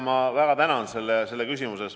Ma väga tänan selle küsimuse eest!